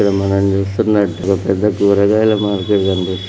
మన చూస్తున్నా ఇక్కడ పెద్ద కూరగాయల మార్కెట్ --